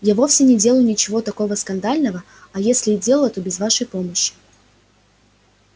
я вовсе не делала ничего такого скандального а если и делала то без вашей помощи